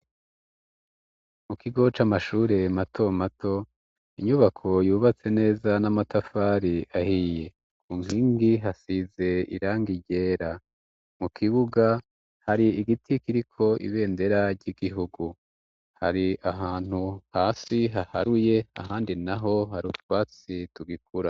Mu kigo c' amashure mato mato inyubako yubatse neza n'amatafari ahiye ku nkingi hasize irangi ryera mu kibuga hari igiti kiriko ibendera ry'igihugu hari ahantu hasi haharuye ahandi naho hari utwatsi tugikura.